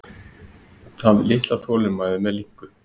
Hafði litla þolinmæði með linku.